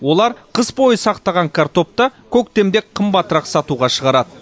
олар қыс бойы сақтаған картопты көктемде қымбатырақ сатуға шығарады